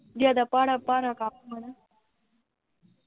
ਜਿਆਦਾ ਭਾਰਾ ਭਾਰਾ ਕਮ ਆ ਨਾ